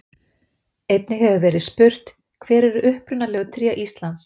Einnig hefur verið spurt: Hver eru upprunalegu tré Íslands?